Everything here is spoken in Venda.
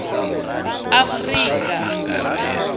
afurika